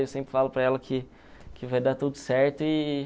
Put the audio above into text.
Eu sempre falo para ela que que vai dar tudo certo. E...